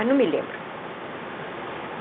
Ah, não me lembro.